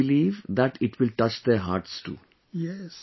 I definitely believe that it will touch their hearts too